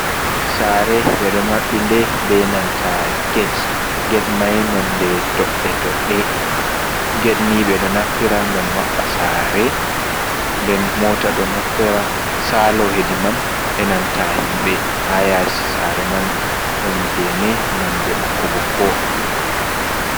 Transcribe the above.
Sare ɓe ɗo maɓɓi de benanta get, get mai nonde doɗɗe - doɗɗe gedni ɓe ɗo naftira gam maɓɓugo sa're , nden mota ɗo naftira sa'lo hedi man enanta himɓe, ha yasi s'are man ɗon gene nonde ɓokko - ɓokko.